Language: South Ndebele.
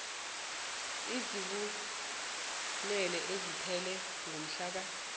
ezibunane esiphele ngomhlaka